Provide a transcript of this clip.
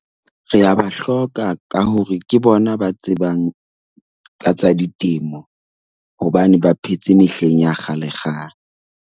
Re a ba hloka ka hore ke bona ba tsebang ka tsa ditemo hobane ba phetse mehleng ya kgalekgale.